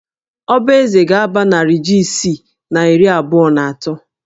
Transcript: Ọba eze ga-aba narị jí isii na iri abụọ na atọ